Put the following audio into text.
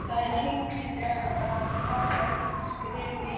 Það er hyggilegra að taka eitt skref í einu.